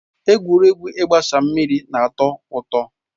Egwuregwu ịgbasa mmiri na atọ ụtọ.